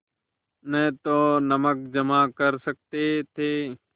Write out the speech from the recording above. न तो नमक जमा कर सकते थे